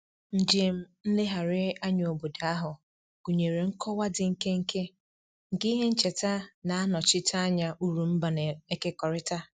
Njem nlegharị anya obodo ahụ gụnyere nkọwa dị nkenke nke ihe ncheta na-anọchite anya uru mba na-ekekọrịta